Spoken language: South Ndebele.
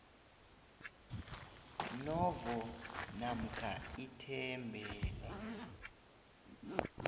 novo namkha ithembele